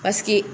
Paseke